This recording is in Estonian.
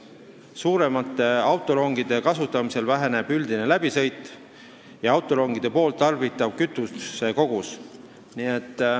Suuremate autorongide kasutamisel väheneb üldine läbisõit ja autorongide tarbitav kütusekogus.